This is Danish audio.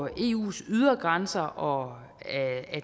eus ydre grænser og